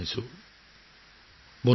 বন্ধু বান্ধৱীসকল